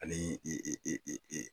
Ani i i i i i i.